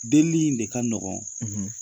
Delili in de ka nɔgɔn